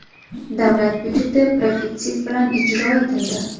Davlat byudjeti profitsit bilan ijro etildi.